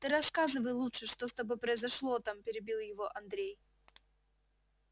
ты рассказывай лучше что с тобой произошло там перебил его андрей